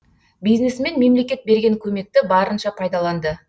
бизнесмен мемлекет берген көмекті барынша пайдаланды